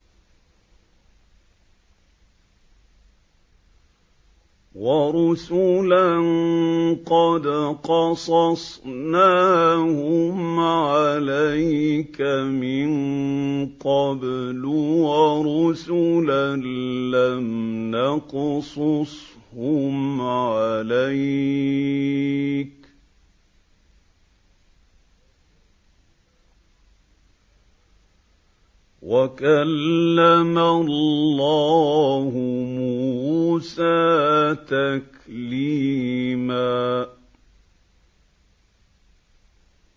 وَرُسُلًا قَدْ قَصَصْنَاهُمْ عَلَيْكَ مِن قَبْلُ وَرُسُلًا لَّمْ نَقْصُصْهُمْ عَلَيْكَ ۚ وَكَلَّمَ اللَّهُ مُوسَىٰ تَكْلِيمًا